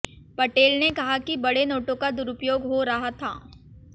पटेल ने कहा कि बड़े नोटों का दुरुपयोग हो रहा था